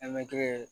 Mɛtiri ye